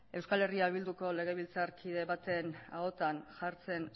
eh bilduko legebiltzarkide baten ahotan jartzen